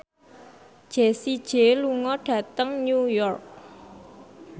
Jessie J lunga dhateng New York